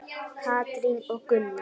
Katrín og Gunnar.